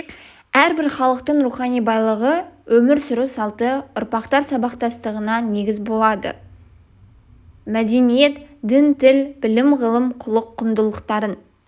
әрбір халықтың рухани байлығы өмір сүру салты ұрпақтар сабақтастығына негіз болады да мәдениет дін тіл білім-ғылым құлық құндылықтарын